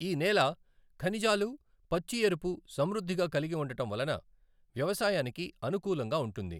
ఈ నేల ఖనిజాలు, పచ్చి ఎరుపు సమృద్ధిగా కలిగి ఉండటం వలన వ్యవసాయానికి అనుకూలంగా ఉంటుంది.